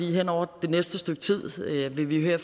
hen over det næste stykke tid vil vi her